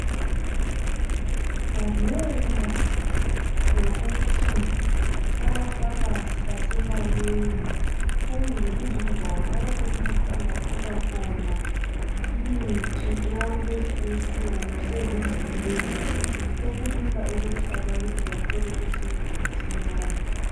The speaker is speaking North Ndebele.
Ngenxa yokuthi amafamasi esemanengi kumbe lapho izindawo lapho umuntu ongathola khona imithi eyakulezi insuku sezizinengi sokulula ukuthi abantu bathole usizo masinyane.